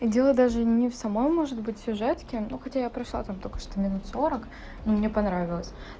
дело даже не в самой может быть сюжетки ну хотя я прошла там только что минут сорок и мне понравилось